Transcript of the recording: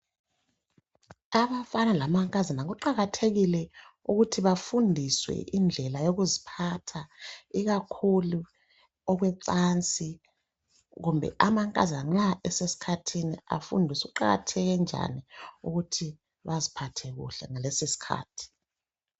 Abafana lamankazana kuqakathekile ukuthi bafundiswe indlela yokuziphatha, ikakhulu okwecansi, kumbe amankazana nxa esesikhathini afundiswe ukuqakatheke njani ukuthi baziphathe kuhle ngalesosikhathi.